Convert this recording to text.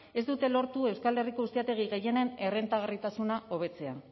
ez dute lortu euskal herriko ustiategi gehienen errentagarritasuna hobetzea